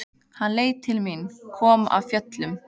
Hann leit til mín, kom af fjöllum.